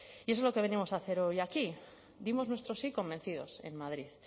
y eso es lo que venimos a hacer hoy aquí dimos nuestro sí convencidos en madrid